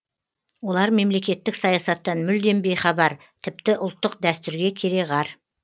олар мемлекеттік саясаттан мүлдем бейхабар тіпті ұлттық дәстүрге кереғар